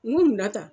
N ko munna tan